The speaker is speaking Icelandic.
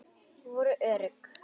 Voru örugg.